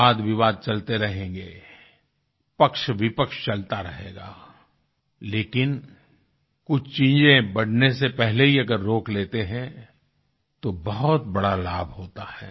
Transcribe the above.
वादविवाद चलते रहेंगें पक्षविपक्ष चलता रहेगा लेकिन कुछ चीजें बढ़ने से पहले ही अगर रोक लेते हैं तो बहुत बड़ा लाभ होता है